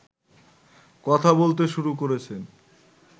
কথা বলতে শুরু করেছেন